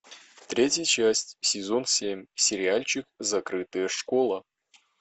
третья часть сезон семь сериальчик закрытая школа